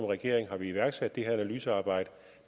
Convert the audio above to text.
regering har vi iværksat det her analysearbejde